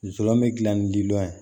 Zon be gilan ni lilɔn ye